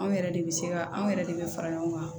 Anw yɛrɛ de bɛ se ka anw yɛrɛ de bɛ fara ɲɔgɔn kan